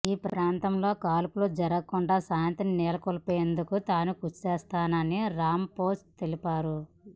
ఈ ప్రాంతంలో కాల్పులు జరగకుండా శాంతిని నెలకొల్పేందుకు తాను కృషి చేస్తానని రాంపొస తెలిపారు